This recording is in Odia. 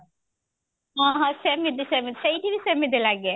ଓ ହୋ ସେମିତି ସେମିତି ସେଇଠି ବି ସେମିତି ଲାଗେ